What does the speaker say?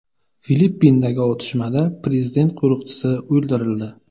Filippindagi otishmada prezident qo‘riqchisi o‘ldirildi.